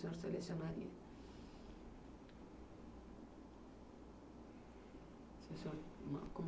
Que o senhor selecionaria.